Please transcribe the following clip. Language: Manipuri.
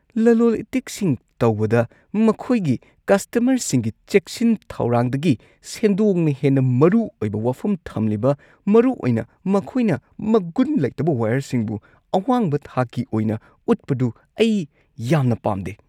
ꯂꯂꯣꯜ ꯏꯇꯤꯛꯁꯤꯡ ꯇꯧꯕꯗ ꯃꯈꯣꯏꯒꯤ ꯀꯁꯇꯃꯔꯁꯤꯡꯒꯤ ꯆꯦꯛꯁꯤꯟ ꯊꯧꯔꯥꯡꯗꯒꯤ ꯁꯦꯟꯗꯣꯡꯅ ꯍꯦꯟꯅ ꯃꯔꯨ ꯑꯣꯏꯕ ꯋꯥꯐꯝ ꯊꯝꯂꯤꯕ, ꯃꯔꯨꯑꯣꯏꯅ ꯃꯈꯣꯏꯅ ꯃꯒꯨꯟ ꯂꯩꯇꯕ ꯋꯥꯏꯌꯔꯁꯤꯡꯕꯨ ꯑꯋꯥꯡꯕ ꯊꯥꯛꯀꯤ ꯑꯣꯏꯅ ꯎꯠꯄꯗꯨ, ꯑꯩ ꯌꯥꯝꯅ ꯄꯥꯝꯗꯦ ꯫